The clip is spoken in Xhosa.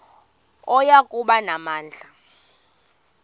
oya kuba namandla